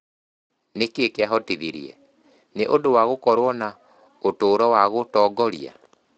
Nĩ kĩĩ kĩahotithirie, nĩ ũndũ wa gũkorũo na ũtũũro wa gũtongoria?